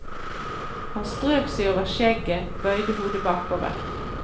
Han strøk seg over skjegget, bøyde hodet bakover.